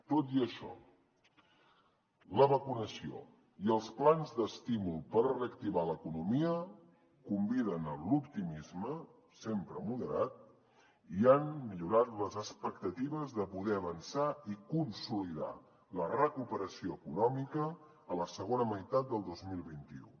tot i això la vacunació i els plans d’estímul per reactivar l’economia conviden a l’optimisme sempre moderat i han millorat les expectatives de poder avançar i consolidar la recuperació econòmica a la segona meitat del dos mil vint u